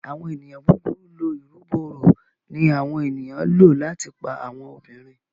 Àwọn ènìyàn búburú lọ ìrúbo òrò ní àwọn ènìyàn ló láti pá àwọn obìrin.